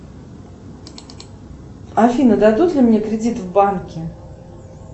афина дадут ли мне кредит в банке